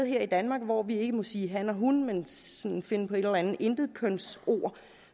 her i danmark hvor vi ikke må sige han og hun men sådan må finde på et eller andet intetkønsord